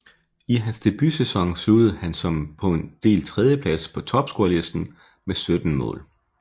I hans debutsæson sluttede han som delt tredjeplads på topscorerlisten med 17 mål